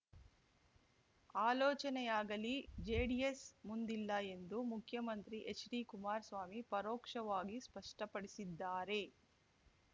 ಆಲೋಚನೆಯಾಗಲಿ JDS ಮುಂದಿಲ್ಲ ಎಂದು ಮುಖ್ಯಮಂತ್ರಿ ಹೆಚ್‌ಡಿಕುಮಾರಸ್ವಾಮಿ ಪರೋಕ್ಷವಾಗಿ ಸ್ಪಷ್ಟಪಡಿಸಿದ್ದಾರೆ